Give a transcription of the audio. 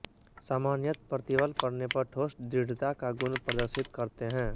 सामान्यत प्रतिबल पड़ने पर ठोस दृढ़ता का गुण प्रदर्शित करते हैं